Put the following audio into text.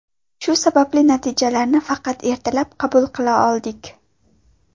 Shu sababli natijalarni faqat ertalab qabul qila oldik”.